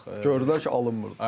Artıq Gördülər ki, alınmırdı.